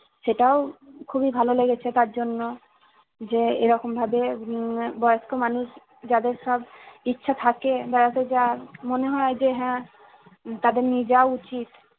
সেটাও খুবই ভালো লেগেছে, তার জন্য যে এরকম ভাবে উম বয়স্ক মানুষ যাদের সব ইচ্ছা থাকে বেড়াতে যাওয়ার, মনে হয় যে হ্যাঁ তাদের নিয়ে যাওয়া উচিত